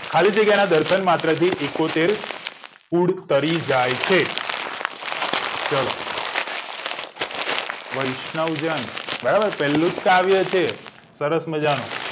ખાલી જગ્યાના દર્શન થી માત્ર એકોતેર કુળ તરી જાય છે ચલો વૈષ્ણવજન બરાબર પેલ્લુંજ કાવ્ય છે સરસ મજાનું